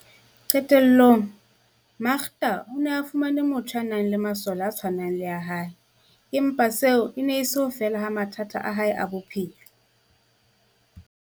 Qe tellong, Makda o ne a fumane motho ya nang le masole a tshwanang le a hae, empa seo e ne e se ho fela ha mathata a hae a bophelo.